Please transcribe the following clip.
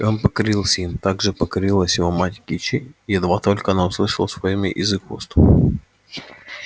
и он покорился им так же покорилась его мать кичи едва только она услышала своё имя из их уст